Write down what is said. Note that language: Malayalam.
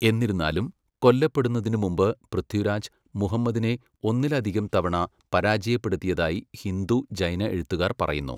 എന്നിരുന്നാലും, കൊല്ലപ്പെടുന്നതിന് മുമ്പ് പൃഥ്വിരാജ്, മുഹമ്മദിനെ ഒന്നിലധികം തവണ പരാജയപ്പെടുത്തിയതായി ഹിന്ദു, ജൈന എഴുത്തുകാർ പറയുന്നു.